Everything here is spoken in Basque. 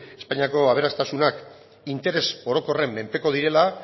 espainiako aberastasunak interes orokorren menpeko direla